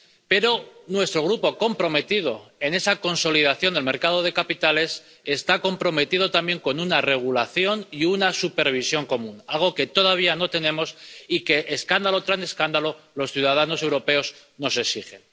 Pero nuestro Grupo, comprometido con esa consolidación de los mercados de capitales, está comprometido también con una regulación y una supervisión común, algo que todavía no tenemos y que, escándalo tras escándalo, los ciudadanos europeos nos exigen.